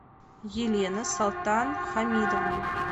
елена солтанхамидовна